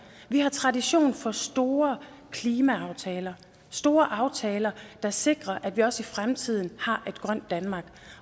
vi har tradition for store klimaaftaler store aftaler der sikrer at vi også i fremtiden har et grønt danmark